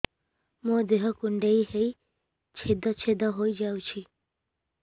ମୋ ଦେହ କୁଣ୍ଡେଇ ହେଇ ଛେଦ ଛେଦ ହେଇ ଯାଉଛି